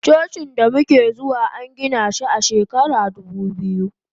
Cocin damuke zuwa angina shi a shekarar dubu biyu.